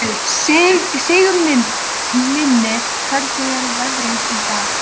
Sigurlinni, hvernig er veðrið í dag?